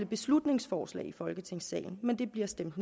beslutningsforslag i folketingssalen men det bliver stemt